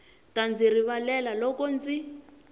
ta ndzi rivalela loko ndzi